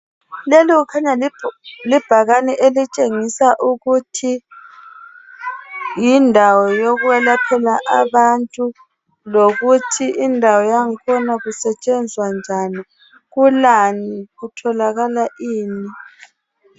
Lelo kukhanya libhakane elitshengisa ukuthi yindawo yokwelaphela abantu , lokuthi indawo yangkhona kusetshenzwa njani kulani, kutholakala ini.